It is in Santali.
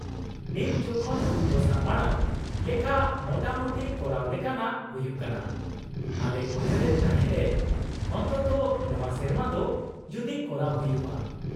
-ᱱᱤᱛ ᱡᱚᱠᱷᱚᱱ ᱫᱚᱥᱟ ᱢᱟᱲᱟᱝ ᱞᱮᱠᱟ ᱢᱚᱴᱟᱢᱩᱴᱤ ᱠᱚᱨᱟᱣ ᱞᱮᱠᱟᱱᱟᱜ ᱦᱩᱭᱩᱜ ᱠᱟᱱᱟ, ᱟᱞᱮ ᱩᱭᱦᱟᱹᱨ ᱮᱫ ᱛᱟᱦᱮᱸ ᱞᱮ ᱚᱱᱛᱚᱛᱚ ᱱᱚᱶᱟ ᱥᱮᱨᱢᱟ ᱫᱚ ᱡᱩᱫᱤ ᱠᱚᱨᱟᱣ ᱦᱩᱭᱩᱜᱼᱟ ᱾